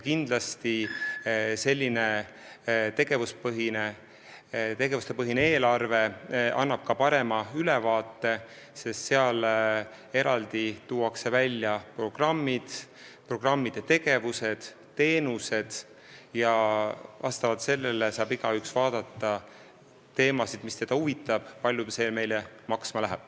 Kindlasti annab selline tegevuspõhine eelarve ka parema ülevaate, sest seal tuuakse eraldi välja programmid, programmide tegevused ja teenused ning igaüks saab vaadata teemasid, mis teda huvitavad, ning näha, kui palju see meile maksma läheb.